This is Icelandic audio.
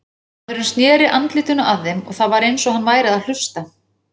Maðurinn sneri andlitinu að þeim og það var eins og hann væri að hlusta.